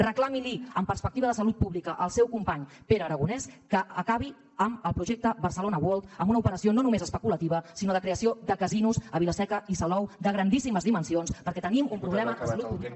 reclami amb perspectiva de salut pública al seu company pere aragonès que acabi amb el projecte barcelona world amb una operació no només especulativa sinó de creació de casinos a vilaseca i salou de grandíssimes dimensions perquè tenim un problema de salut pública